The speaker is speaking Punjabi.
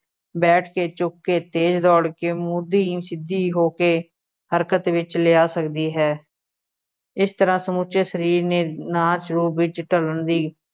ਬੈਠ ਕੇ, ਝੁੱਕ ਕੇ, ਤੇਜ਼ ਦੌੜ ਕੇ, ਮੁੱਧੀ ਜਾਂ ਸਿੱਧੀ ਹੋ ਕੇ ਹਰਕਤ ਵਿੱਚ ਲਿਆ ਸਕਦੀ ਹੈ, ਇਸ ਤਰ੍ਹਾ ਸਮੁੱਚੇ ਸਰੀਰ ਨੇ ਨਾਚ ਰੂਪ ਵਿੱਚ ਢਲਣ ਦੀ